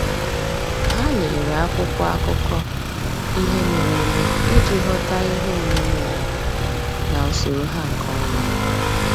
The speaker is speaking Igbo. Há lèrè ákwụ́kwọ́ ákụ́kọ́ ihe mere eme iji ghọ́tá ihe omume ụ́wà na usoro ha nke ọma.